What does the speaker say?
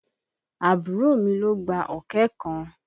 Àbúrò mi ló gba ọ̀kẹ́ kan.